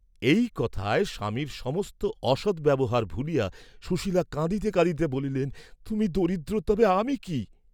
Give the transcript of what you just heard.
এই কথায় স্বামীর সমস্ত অসদ্ব্যবহার ভুলিয়া সুশীলা কাঁদিতে কাঁদিতে বলিলেন তুমি দরিদ্র, তবে আমি কি?